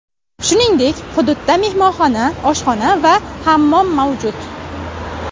Shuningdek, hududda mehmonxona, oshxona va hammom mavjud.